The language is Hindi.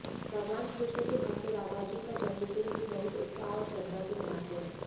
भगवान कृष्ण के भक्त राधाजी का जन्मदिन भी बहुत उत्साह और श्रद्धा से मनाते हैं